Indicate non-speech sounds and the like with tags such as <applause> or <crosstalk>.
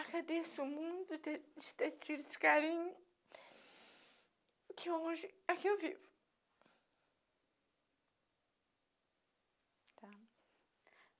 e agradeço muito de ter tido esse carinho que hoje é que eu vivo. Tá <cries>